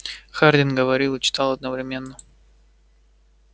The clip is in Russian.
хардин говорил и читал одновременно